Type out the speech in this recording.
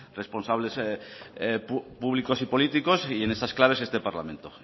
responsables públicos y políticos y en esas claves este parlamento